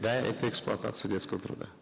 да это эксплуатация детского труда